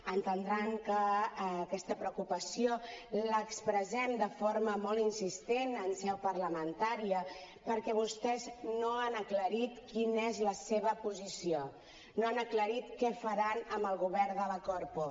entendran que aquesta preocupació l’expressem de forma molt insistent en seu parlamentària perquè vostès no han aclarit quina és la seva posició no han aclarit què faran amb el govern de la corpo